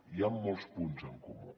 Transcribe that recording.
hi han molts punts en comú